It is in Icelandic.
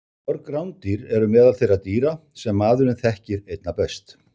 Mörg rándýr eru meðal þeirra dýra sem maðurinn þekkir einna best.